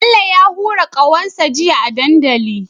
Bello ya hura ƙahon sa jiya a dandali